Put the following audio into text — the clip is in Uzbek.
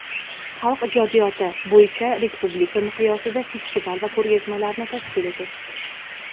xalq ijodiyoti) bo‘yicha respublika miqyosida festival va ko‘rgazmalarni tashkil etish;.